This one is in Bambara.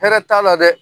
Hɛrɛ t'a la dɛ